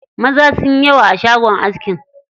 Maza sunyi yawa a shagon askin.